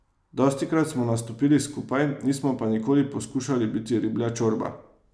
Dostikrat smo nastopili skupaj, nismo pa nikoli poskušali biti Riblja čorba.